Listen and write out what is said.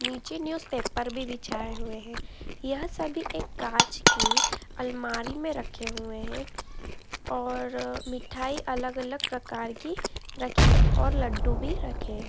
]नीचे newspaper भी बिछाये हुए हैं। यह सभी एक कांच की एक अलमारी में रखे हुए हैं और मिठाई अलग-अलग प्रकार की रखी है और लड्डू भी रखे हैं।